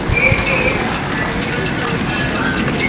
ಏನ್ರೀ ಏನ್ ಅಡ್ಗಿ ಮಾಡಿದ್ರೀ ಇವತ್ತ ಊಟಾ ಅದೂ ಆತ್ ಇಲ್ರೀ.